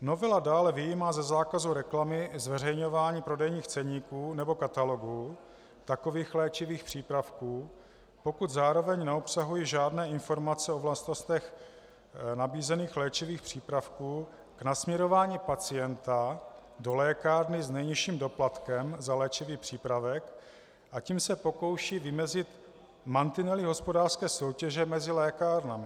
Novela dále vyjímá ze zákazu reklamy zveřejňování prodejních ceníků nebo katalogů takových léčivých přípravků, pokud zároveň neobsahují žádné informace o vlastnostech nabízených léčivých přípravků k nasměrování pacienta do lékárny s nejnižším doplatkem za léčivý přípravek, a tím se pokouší vymezit mantinely hospodářské soutěže mezi lékárnami.